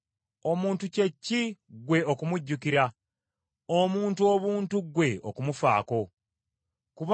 omuntu kye ki ggwe okumujjukira, omuntu obuntu ggwe okumussaako omwoyo?